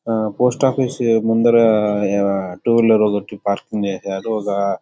Post office ముందర two wheeler ఒకటి ఫారెస్టింగ్ చేశారు. ఒక --